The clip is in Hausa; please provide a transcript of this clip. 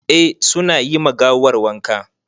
Eh su na yi ma gawar wanka.